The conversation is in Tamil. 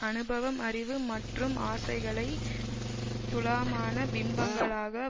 அனுபவம் அறிவு மற்றும் ஆசைகளை ஸ்தூலமான பிம்பங்களாக